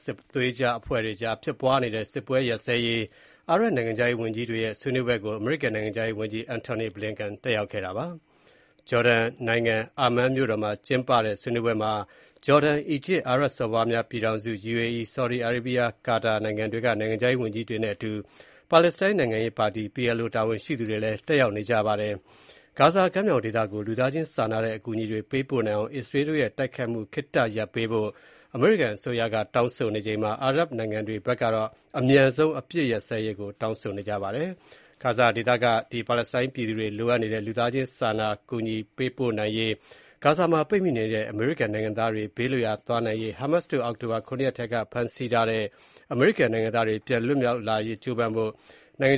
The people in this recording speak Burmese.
စစ်သွေးကြွအဖွဲ့ကြားဖြစ်ပွားနေတဲ့ စစ်ပွဲ ရပ်စဲရေး အာရပ်နိုင်ငံခြားရေးဝန်ကြီးတွေရဲ့ ဆွေးနွေးပွဲကို အမေရိကန်နိုင်ငံခြားရေးဝန်ကြီး Antony Blinken တက်ရောက်ခဲ့ပါတယ်။ ဂျော်ဒန်နိုင်ငံ အာမန်းမြို့တော်မှာကျင်းပတဲ့ ဆွေးနွေးပွဲမှာ ဂျော်ဒန်၊ အီဂျစ်၊ အာရပ်စော်ဘွားများပြည်ထောင်စု UAE၊ Saudi Arabia၊ Qatar နိုင်ငံတွေက နိုင်ငံခြားရေးဝန်ကြီးတွေနဲ့အတူ ပါလက်စတိုင်းနိုင်ငံရေးပါတီ PLO တာဝန်ရှိသူတွေလည်း တက်ရောက်ကြပါတယ်။ ဂါဇာကမ်းမြောင်ဒေသကို လူသားချင်းစာနာတဲ့ အကူအညီတွေ ပေးပို့နိုင်အောင် အစ္စရေးတို့ရဲ့ တိုက်ခိုက်မှု ခေတ္တရပ်ပေးဖို့ အမေရိကန်အစိုးရက တောင်းဆိုနေချိန်မှာ အာရပ်နိုင်ငံတွေကတော့ အမြန်ဆုံး အပစ် အခတ်ရပ်စဲရေးကို တောင်းဆိုနေကြပါတယ်။ ဂါဇာဒေသက ပါလက်စတိုင်းပြည်သူတွေ အလွန်အမင်း လိုအပ်နေတဲ့ လူသားချင်းစာနာစရာ အကူအညီတွေ ပိုပြီး ပေးပို့နိုင်ရေး၊ ဂါဇာမှာပိတ်မိနေတဲ့ အမေရိကန်နိုင်ငံသားတွေ ဘေးလွတ်ရာ သွားနိုင်ရေး၊ Hamas တို့ အောက်တိုဘာ ၇ ရက်ထဲက ဖမ်းဆီးထားတဲ့ အမေရိကန်နိုင်ငံသားတွေ ပြန်လည်လွတ်မြောက်လာရေး ကြိုးပမ်းဖို့ နိုင်ငံ